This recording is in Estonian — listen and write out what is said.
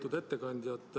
Lugupeetud ettekandja!